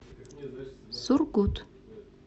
сургут